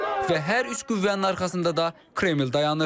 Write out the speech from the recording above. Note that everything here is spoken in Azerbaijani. Və hər üç qüvvənin arxasında da Kreml dayanır.